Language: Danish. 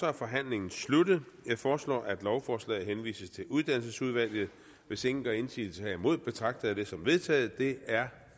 er forhandlingen sluttet jeg foreslår at lovforslaget henvises til uddannelsesudvalget hvis ingen gør indsigelse herimod betragter jeg det som vedtaget det er